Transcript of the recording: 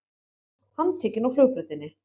Handtekinn á flugbrautinni